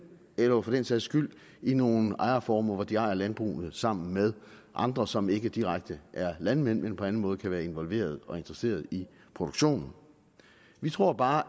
eller for den sags skyld i nogle ejerformer hvor de ejer landbrugene sammen med andre som ikke direkte er landmænd men på anden måde kan være involveret og interesseret i produktionen vi tror bare